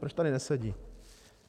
Proč tady nesedí?